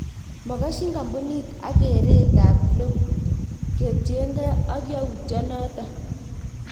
Mokosyin kambunit ak keret ab Klopp ketyenge ak youtyon noton